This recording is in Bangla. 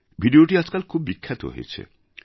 ভিডিওটি আজকাল খুব বিখ্যাত হয়েছে